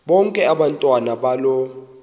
bonke abantwana balo